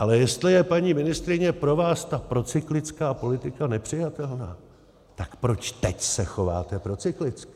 Ale jestli je, paní ministryně, pro vás ta procyklická politika nepřijatelná, tak proč teď se chováte procyklicky?